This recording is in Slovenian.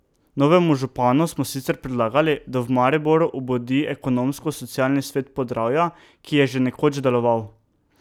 Novemu županu smo sicer predlagali, da v Mariboru obudi ekonomsko socialni svet Podravja, ki je že nekoč deloval.